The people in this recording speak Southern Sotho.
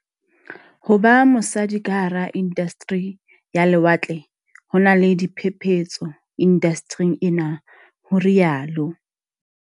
Ho ba mosadi ka hara indasteri ya lewatle ho na le diphephetso indastering enwa, ho rialo.